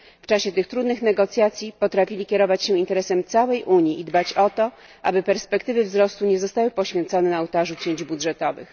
W czasie tych trudnych negocjacji potrafili kierować się interesem całej Unii i dbać o to, aby perspektywy wzrostu nie zostały poświęcone na ołtarzu cięć budżetowych.